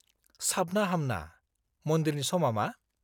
-साबना-हामना; मन्दिरनि समा मा?